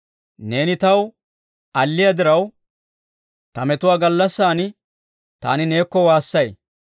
Neeni taw alliyaa diraw, ta metuwaa gallassan taani neekko waassay.